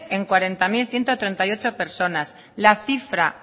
en cuarenta mil ciento treinta y ocho personas la cifra